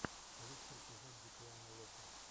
лучший эпизод дикуана локо